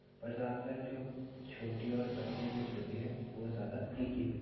पर जादेतर जो छोटी और पतली मिर्च होती है वो ज्यादा तीखी हो --